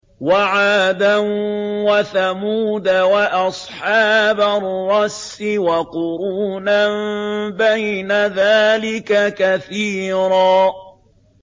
وَعَادًا وَثَمُودَ وَأَصْحَابَ الرَّسِّ وَقُرُونًا بَيْنَ ذَٰلِكَ كَثِيرًا